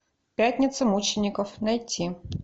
пятница мучеников найти